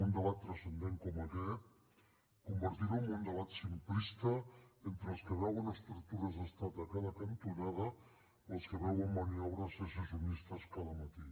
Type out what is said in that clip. un debat transcendent com aquest convertirlo en un debat simplista entre els que veuen estructures d’estat a cada cantonada o els que veuen maniobres secessionistes cada matí